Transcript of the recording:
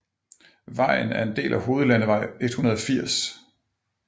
Vejen er en del af hovedlandevej 180